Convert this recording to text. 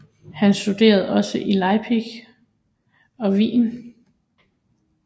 Han studerede også i Leipzig og Wien